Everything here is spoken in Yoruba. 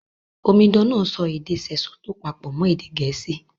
Omidan náà èdè Sesotho pàpò mọn Gẹ̀ẹ̀síì